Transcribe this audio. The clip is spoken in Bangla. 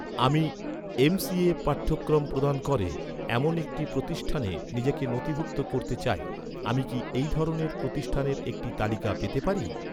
আমি এম.সি.এ পাঠ্যক্রম প্রদান করে, এমন একটি প্রতিষ্ঠানে নিজেকে নথিভুক্ত করতে চাই, আমি কি এই ধরনের প্রতিষ্ঠানের একটি তালিকা পেতে পারি?